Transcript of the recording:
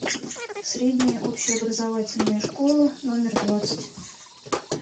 средняя общеобразовательная школа номер двадцать